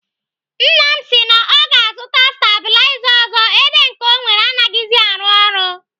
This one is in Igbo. Nna m si na ọ ga-azụta stabiliza ọzọ ebe nke ọ nwere anaghịzi arụ ọrụ.